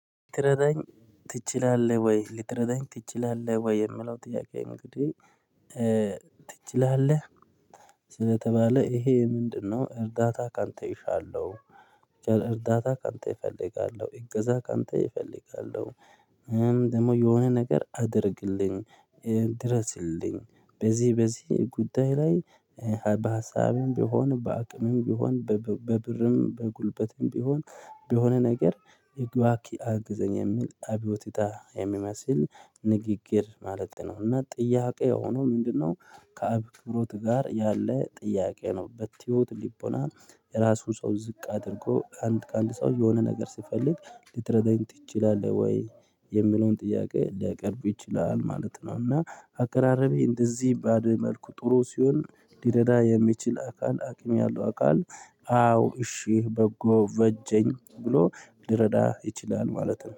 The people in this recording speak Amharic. ትረዳኝ ትችላለህ ወይ ልትረዳኝ ትችላለህ? ወይ የምለው ጥያቄ እንግዲህ ትችላለህ ስለተባለ ይሄ ምንድነው እርዳታ ካንተ እሻለሁ። እርዳታ ካንተ እፈልጋለሁ እገዛ ካንተ እፈልጋለሁ። ደግሞ የሆነ ነገር አድርግልኝ ድረስልኝ በዚህ በዚህ ጉዳይ ላይ። በሀሳብም ቢሆን በአቅምም ቢሆን በብርም በጉልበትም ቢሆን በሆነ ነገር እባክህ አግዘኝ የሚል አብዮቲታ የሚመስል ንግግር ማለት ነው። እና ጥያቄ ሆኖ ምንድነው? ከአክብሮት ጋር ያለ ጥያቄ ነው። በትሁት ልቦና የራሱን ሰው ዝቅ አድርጎ አንድ ከአንድ ሰው የሆነ ነገር ስፈልግ ልትረዳኝ ትችላለህ ወይ? የምለውን ጥያቄ ሊያቀርቡ ይችላል ማለት ነው። እና አቀራረቤ እንደዚህ ባደ መልኩ ጥሩ ሲሆን ሊረዳ የሚችል አካል አቅም ያለው አካል። አዎ እሺ በጎ በጀኝ ብሎ ልረዳ ይችላል ማለት ነው